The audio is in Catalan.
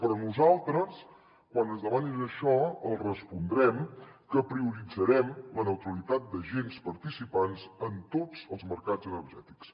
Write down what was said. però nosaltres quan ens demanin això els respondrem que prioritzarem la neutralitat d’agents participants en tots els mercats energètics